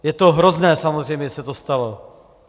Je to hrozné samozřejmě, že se to stalo.